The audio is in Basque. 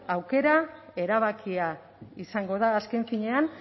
aukera erabakia izango da azken finean